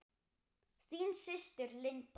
Þín systir, Linda.